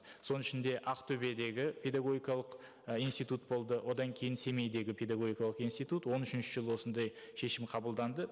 соның ішінде ақтөбедегі педагогикалық і институт болды одан кейін семейдегі педагогикалық институт он үшінші жылы осындай шешім қабылданды